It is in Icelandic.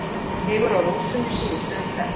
Sigur á Rússum í síðustu umferð